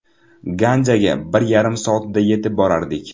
Ganjaga bir yarim soatda yetib borardik.